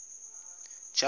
jafete